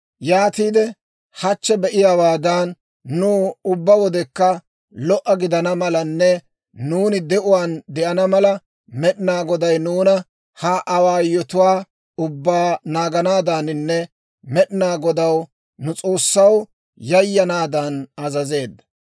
Yaatiide hachchi be"iyaawaadan, nuw ubbaa wodekka lo"a gidana malanne nuuni de'uwaan de'ana mala, Med'inaa Goday nuuna ha awaayotuwaa ubbaa naaganaadaaninne Med'inaa Godaw, nu S'oossaw, yayanaadan azazeedda.